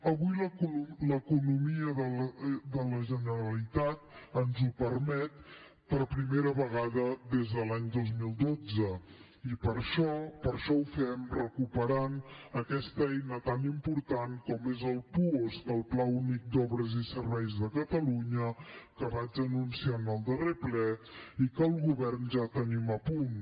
avui l’economia de la generalitat ens ho permet per primera vegada des de l’any dos mil dotze i per això ho fem recuperant aquesta eina tan important com és el puosc el pla únic d’obres i serveis de catalunya que vaig anunciar en el darrer ple i que el govern ja tenim a punt